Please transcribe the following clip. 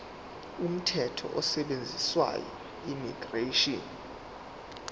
umthetho osetshenziswayo immigration